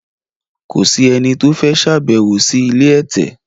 Kò sì ẹni tí o fẹ ṣabewo si ilé ẹtẹ